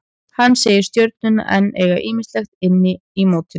Hann segir Stjörnuna enn eiga ýmislegt inni í mótinu.